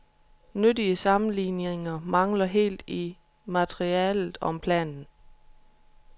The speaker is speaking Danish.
Nyttige sammenligninger mangler helt i materialet om planen.